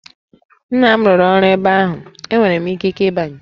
Nna m rụrụ ọrụ ebe ahụ, enwere m ikike ịbanye!